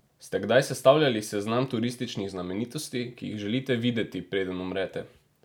Ste kdaj sestavljali seznam turističnih znamenitosti, ki jih želite videti, preden umrete?